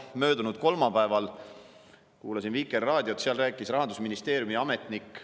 Möödunud kolmapäeval kuulasin Vikerraadiot, seal rääkis Rahandusministeeriumi ametnik.